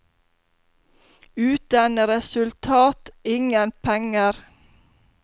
Uten resultat, ingen penger.